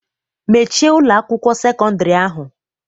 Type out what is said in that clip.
Mechie Ụlọ akwụkwọ sekọndrị ahụ!